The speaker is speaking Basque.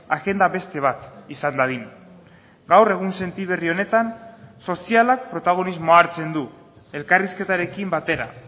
agenda beste bat izan dadin gaur egunsenti berri honetan sozialak protagonismoa hartzen du elkarrizketarekin batera